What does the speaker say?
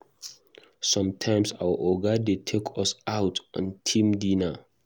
Sometimes our Oga dey take us out on team dinner.